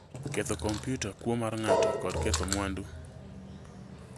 ketho kompiuta, kuo mar ng'ato kod ketho mwandu"